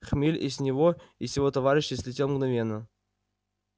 хмель и с него и с его товарищей слетел мгновенно